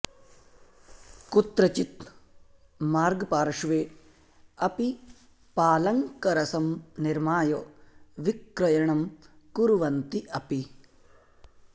कुत्रचित् मार्गपार्श्वे अपि पालङ्करसं निर्माय विक्रयणं कुर्वन्ति अपि